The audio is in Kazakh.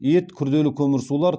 ет күрделі көмірсулар